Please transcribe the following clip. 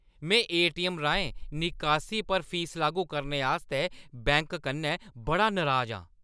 में एटीऐम्म राहें निकासी पर फीस लागू करने आस्तै बैंक कन्नै बड़ा नराज आं।